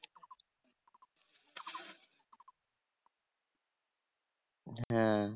হ্যাঁ